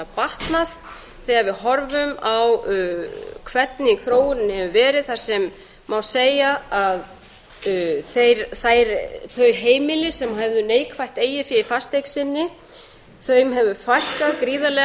batnað þegar við horfum á hvernig þróunin hefur verið þar sem má segja að þeim heimilum sem höfðu neikvætt eigið fé í fasteign sinni hefur fækkað gríðarlega